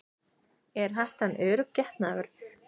Er hettan örugg getnaðarvörn?